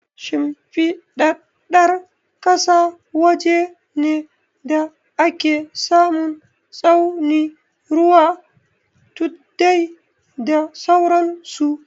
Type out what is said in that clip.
Shimfiɗaɗɗar ƙasa waje ne da ake samun tsauni, ruwa, tuddai, da sauran su.